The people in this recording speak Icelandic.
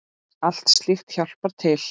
Allt slíkt hjálpar til.